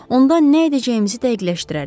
Onda nə edəcəyimizi dəqiqləşdirərik.